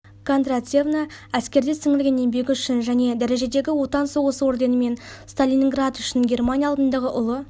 кондратьевна әскерде сіңірген еңбегі үшін және дәрежедегі отан соғысы орденімен сталиниград үшін германия алдындағы ұлы